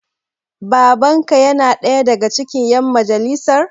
Baban ka yana ɗaya daga cikin ƴan majalisar?